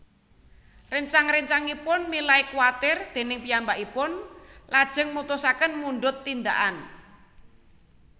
Réncang réncangipun milai kwatir déning piyambakipun lajeng mutusaken mundhut tindakan